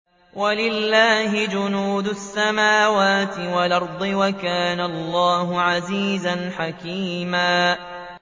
وَلِلَّهِ جُنُودُ السَّمَاوَاتِ وَالْأَرْضِ ۚ وَكَانَ اللَّهُ عَزِيزًا حَكِيمًا